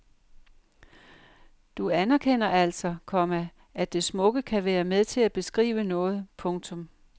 Du anerkender altså, komma at det smukke kan være med til at beskrive noget. punktum